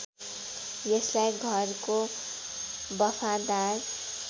यसलाई घरको बफादार